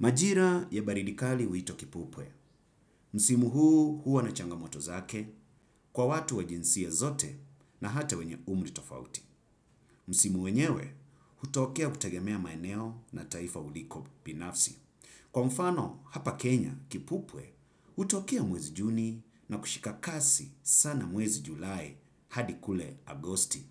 Majira ya baridi kali huitwa kipupwe. Msimu huu huwa na changamoto zake kwa watu wa jinsia zote na hata wenye umri tofauti. Msimu wenyewe hutokea kutagemea maeneo na taifa uliko binafsi. Kwa mfano hapa Kenya kipupwe utokea mwezi juni na kushika kasi sana mwezi julai hadi kule agosti.